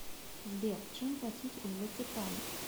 сбер чем платить в ватикане